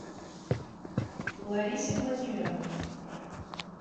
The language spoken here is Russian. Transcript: ларисе владимировне